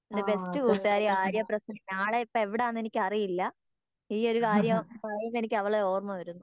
എൻ്റെ ബെസ്റ്റ് കൂട്ടുകാരി ആര്യ പ്രസന്നൻ ആളെ ഇപ്പൊ എവിടാന്ന് എനിക്ക് അറിയില്ല ഈയൊരു കാര്യം പറയുമ്പോ എനിക്ക് അവളെ ഓർമ്മ വരുന്നു